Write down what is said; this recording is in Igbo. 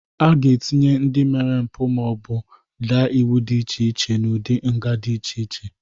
Aga etinye ndị mere mbụ ma ọ bụ daa iwu dị iche iche n'udị nga dị iche iche.